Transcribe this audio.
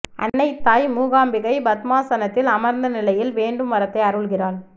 அன்னை தாய் மூகாம்பிகை பத்மாசனத்தில் அமர்ந்த நிலையில் வேண்டும் வரத்தை அருள்கிறாள்